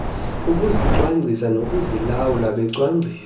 ukuzicwangcisa nokuzilawula becwangcisa